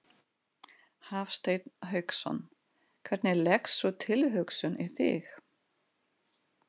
Hafsteinn Hauksson: Hvernig leggst sú tilhugsun í þig?